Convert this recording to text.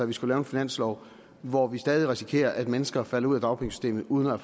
vi skal lave en finanslov hvor vi stadig risikerer at mennesker falder ud af dagpengesystemet uden at